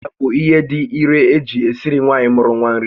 Ụda bụ ihe dị irè eji esiri nwaanyị mụru nwa nri